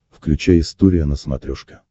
включай история на смотрешке